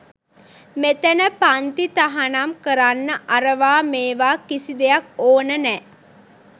මෙතැන පන්ති තහනම් කරන්න අරවා මේවා කිසි දෙයක් ඕන නෑ.